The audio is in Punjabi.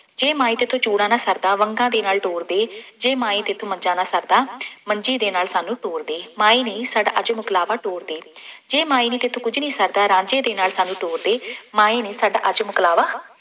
ਜੇ ਮਾਏ ਤੈਥੋਂ ਚੂੜਾ ਨਾ ਸ਼ਰਦਾ, ਵੰਗਾਂ ਦੇ ਨਾਲ ਤੋਰ ਦੇ, ਜੇ ਮਾਏ ਤੈਥੌਂ ਮੰਜ਼ਾ ਨਾ ਸ਼ਰਦਾ, ਮੰਜ਼ੀ ਦੇ ਨਾਲ ਸਾਨੂੰ ਤੋਰ ਦੇ, ਮਾਏ ਨੀ ਸਾਡਾ ਅੱਜ ਮੁਕਲਾਵਾ ਤੋਰ ਦੇ, ਜੇ ਮਾਏ ਨੀ ਤੈਥੋਂ ਕੁੱਝ ਨਹੀਂ ਸ਼ਰਦਾ, ਰਾਂਝੇ ਦੇ ਨਾਲ ਸਾਨੂੰ ਤੋਰ ਦੇ, ਮਾਏ ਨੀ ਸਾਡਾ ਅੱਜ ਮੁਕਲਾਵਾ